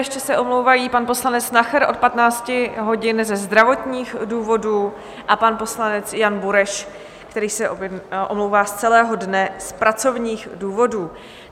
Ještě se omlouvají pan poslanec Nacher od 15 hodin ze zdravotních důvodů a pan poslanec Jan Bureš, který se omlouvá z celého dne z pracovních důvodů.